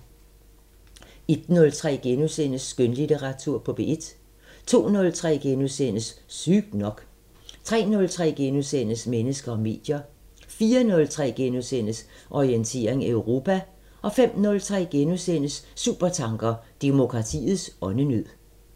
01:03: Skønlitteratur på P1 * 02:03: Sygt nok * 03:03: Mennesker og medier * 04:03: Orientering Europa * 05:03: Supertanker: Demokratiets åndenød *